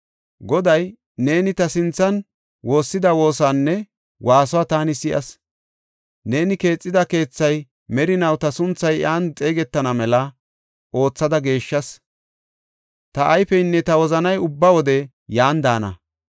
Goday, “Neeni ta sinthan woossida woosaanne waasuwa taani si7as. Neeni keexida keethay merinaw ta sunthay iyan xeegetana mela oothada geeshshas. Ta ayfeynne ta wozanay ubba wode yan daana.